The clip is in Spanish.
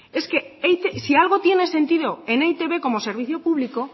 si algo tiene sentido en e i te be como servicio público